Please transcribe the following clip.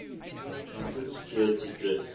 content security threats